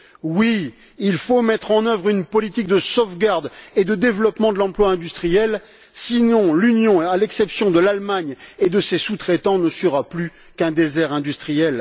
Oui, il faut mettre en œuvre une politique de sauvegarde et de développement de l'emploi industriel sinon l'Union, à l'exception de l'Allemagne et de ses sous traitants, ne sera plus qu'un désert industriel.